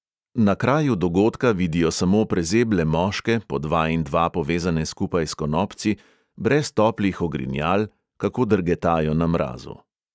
Na kraju dogodka vidijo samo prezeble moške, po dva in dva povezane skupaj s konopci, brez toplih ogrinjal, kako drgetajo na mrazu.